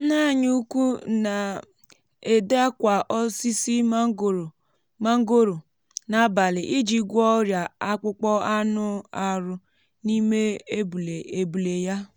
nne anyi ukwu na-ede akwa osisi mangoro n’abalị iji gwọọ ọrịa akpụkpọ anụ arụ n’ime èbùlè ya.